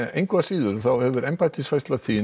engu að síðar hefur embættisfærsla þín